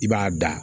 I b'a da